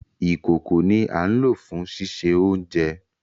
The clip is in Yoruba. Ìkòko ni à n lo fùn ṣiṣe ounjẹ.